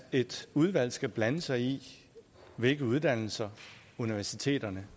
et udvalg skal blande sig i hvilke uddannelser universiteterne